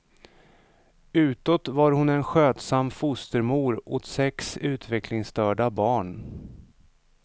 Utåt var hon en skötsam fostermor åt sex utvecklingsstörda barn.